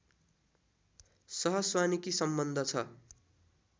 सहस्वानिकी सम्बन्ध छ